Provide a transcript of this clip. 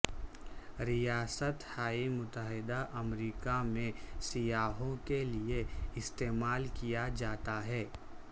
ریاست ہائے متحدہ امریکہ میں سیاحوں کے لئے استعمال کیا جاتا ہے